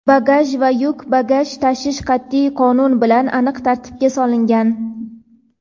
bagaj va yuk bagaj tashish qat’iy qonun bilan aniq tartibga solingan.